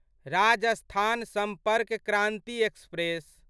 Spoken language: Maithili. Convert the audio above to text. राजस्थान सम्पर्क क्रान्ति एक्सप्रेस